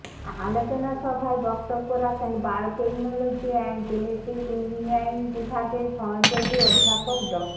আলোচনা সভায় বক্তব্য রাখেন বায়োটেকনোলজি এন্ড জেনেটিক ইঞ্জিনিয়ারিং বিভাগের সহযোগী অধ্যাপক ড